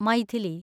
Maithili